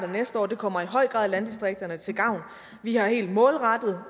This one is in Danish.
næste år og det kommer i høj grad landdistrikterne til gavn vi har helt målrettet